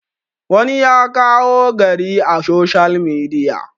wani ya kawo gari a soshiyal midiya